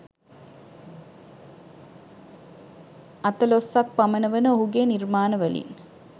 අතලොස්සක් පමණ වන ඔහුගේ නිර්මාණ වලින්